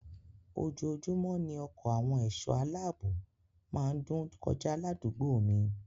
Ojoojúmọ́ ni ọkọ àwọn ẹ̀sọ́ aláààbò má ń dún kọjá ládùúgbò mi